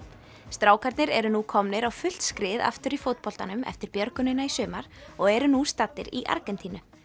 strákarnir eru nú komnir á fullt skrið aftur í fótboltanum eftir björgunina í sumar og eru nú staddir í Argentínu